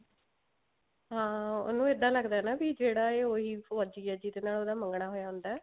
ਹਾਂ ਉਹਨੂੰ ਇੱਦਾਂ ਲੱਗਦਾ ਵੀ ਜਿਹੜਾ ਇਹ ਉਹੀ ਫੋਜੀ ਆ ਜਿਹਦੇ ਨਾਲ ਉਹਦਾ ਮੰਗਣਾ ਹੋਇਆ ਹੁੰਦਾ